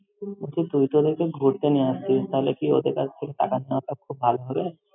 বলছি, তুই তো ওদেরকে ঘুরতে নিয়ে আসছিস, তাহলে কি ওদের কাছে থেকে টাকা নেওয়াটা খুব ভালো হবে?